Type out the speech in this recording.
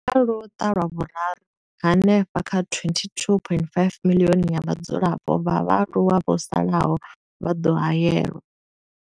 Kha luṱa lwa Vhuraru, hanefha kha 22.5 miḽioni ya vhadzulapo vha vhaaluwa vho salaho vha ḓo haelwa.